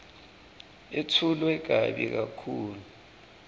yetfulwe kabi kakhulu